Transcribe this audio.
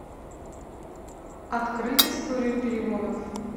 открыть историю переводов